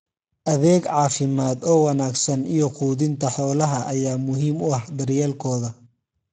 Adeeg caafimaad oo wanaagsan iyo quudinta xoolaha ayaa muhiim u ah daryeelkooda.